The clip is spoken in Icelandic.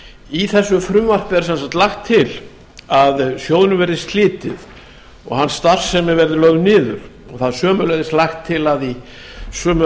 í þessu frumvarpi er sem sagt lagt til að sjóðnum verði slitið og starfsemi hans lögð niður sömuleiðis er lagt til að í sömu